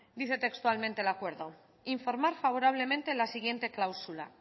dice textualmente el acuerdo informar favorablemente en la siguiente cláusula